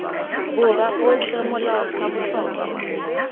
borwa otlhe molao sa botlhokwa